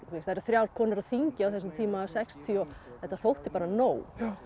það eru þrjár konur á þingi á þessum tíma þetta þótti bara nóg